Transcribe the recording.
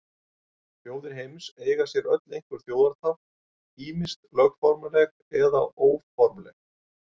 Þjóðir heims eiga sér öll einhver þjóðartákn, ýmist lögformleg eða óformleg.